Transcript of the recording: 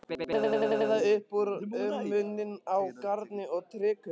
Kveða upp úr um muninn á garni og trékubb.